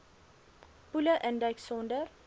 poele induik sonder